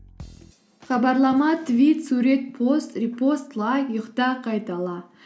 хабарлама твит сурет пост репост лайк ұйықта қайтала